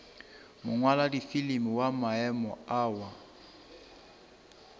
mongwaladifilimi wa maemo a wa